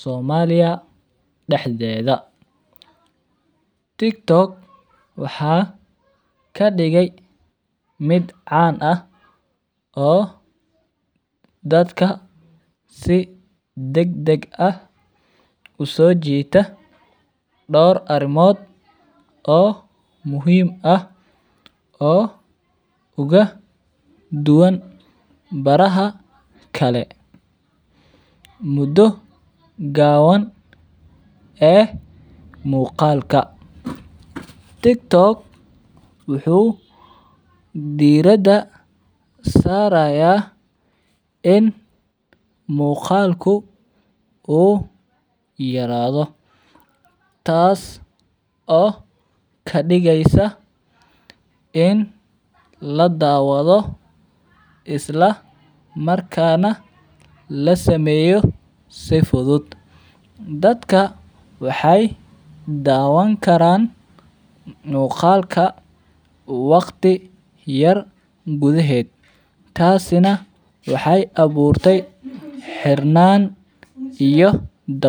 somaliya dax dedha, Tiktok waxaa kadigay mid can ah oo dadka si dag dag ah uso jita dor arimod oo muhiim ah oo uga duwan baraha kale mudo gawan ee muqalka, tiktok wuxuu dirada saraya in muqalku u yaradho tas oo kadigeysa in ladawadho isla markana lasameyo si fudud dadka waxee dawan karan muqalka waqti yar gudhaheed tasi nah waxee awurtay xirnan iyo dawecad.